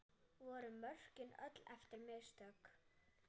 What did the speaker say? Voru mörkin öll eftir mistök?